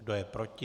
Kdo je proti?